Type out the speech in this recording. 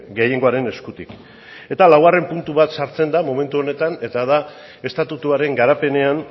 gehiengoaren eskutik eta laugarren puntu bat sartzen da momentu honetan eta da estatutuaren garapenean